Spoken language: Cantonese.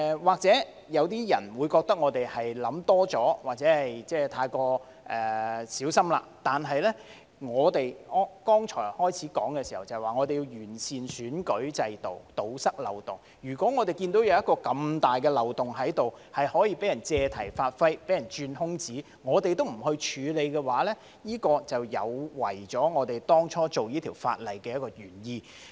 或許有些人會認為我們想多了或太過小心，但正如我剛才在開始的時候說，我們要完善選舉制度，堵塞漏洞，當我們看到如此大的漏洞，可以被人借題發揮和鑽空子，如果我們都不處理，這便有違我們當初訂立這項法案的原意。